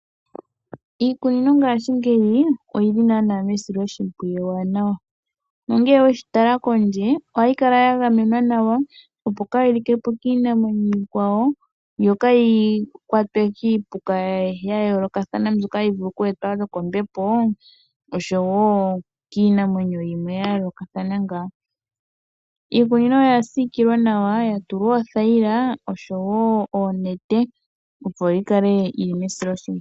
Iikunino ngaashingeyi oyi li naana mesiloshimpwiyu ewanawa, nonge weshi tala kondje, ohayi kala ya gamemwa nawa opo kaayi like po kiinamwenyo iikwawo. Yo kayi kwatwe kiipuka ya yoolokathana mbyoka hayi vulu kweetwa nokombepo, noshowo kiinamwenyo yimwe ya yoolokathana ngaa. Iikunino oya siikilwa nawa ya tulwa othayila oshowo oonete, opo yi kale mesiloshimpwiyu.